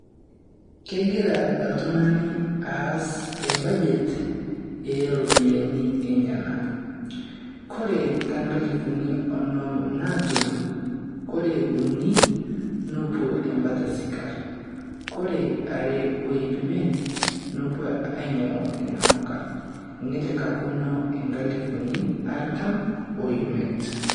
Kegira oltung`ani aas e budget ee ropiyiani enyenak. Ore too nkalifuni oonom naatum, kore uni nepuo embata e sikarr, ore are o iip imiet nepuo ainyiang`u inamuka nelekakino nkalifuni artam o imiet.